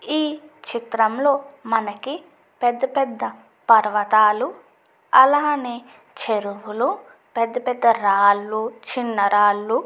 ఈ చిత్రంలో మనకి పెద్ద పెద్ద పర్వతాలు అలానే చెరువులు పెద్ద పెద్ద రాళ్లు చిన్న రాళ్లు--